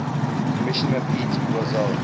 commissioner pete rozelle